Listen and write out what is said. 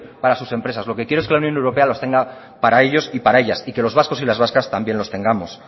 para sus empresas lo que quiero es que la unión europea los tengan para ellos y para ellas y que los vascos y las vascas también los tengamos